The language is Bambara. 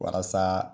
Walasa